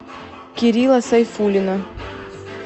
кирилла сайфуллина